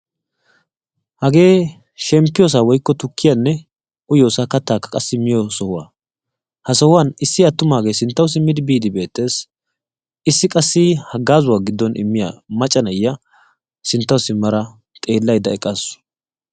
Hagee shemppiyoosaa woykko tukkiyaanne uyiyoosaa kattaakka qassi miyoo sohuwaa. ha sohuwaan issi attumaagee sinttawu simmidi biiddi beettees. issi qassi haggaazuwaa giddon immiyaa macca na'iyaa sinttawu simmada eqqaasu.